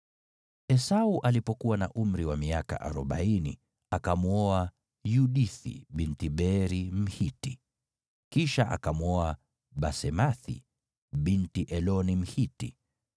Esau alipokuwa na umri wa miaka arobaini, akamwoa Yudithi binti Beeri Mhiti, kisha akamwoa Basemathi binti Eloni Mhiti.